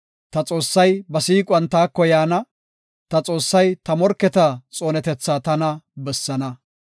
Ta Xoossay ba siiquwan taako yaana; ta Xoossay ta morketa xoonetethaa tana bessaana.